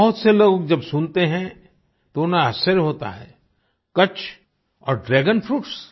बहुत से लोग जब सुनते हैं तो उन्हें आश्चर्य होता है कच्छ और ड्रैगन फ्रूट्स